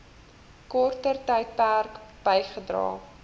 korter tydperk bygedra